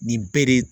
Nin bɛɛ de